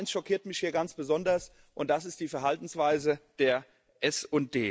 Aber eins schockiert mich hier ganz besonders, und das ist die Verhaltensweise der SD.